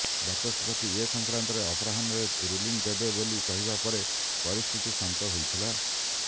ବାଚସ୍ପତି ଏସଂକ୍ରାନ୍ତରେ ଅପରାହ୍ନରେ ରୁଲିଂ ଦେବେ ବୋଲି କହିବା ପରେ ପରିସ୍ଥିତି ଶାନ୍ତ ହୋଇଥିଲା